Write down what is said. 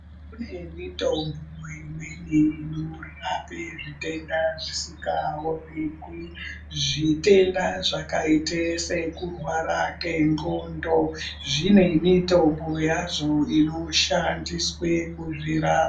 Kune mitombo imweni inorapa zvitenda zvisingaonekwi. Zvitenda zvakaita sekurwara kwendxondo zvinemitombo yazvo inoshandiswe kuzvirapa.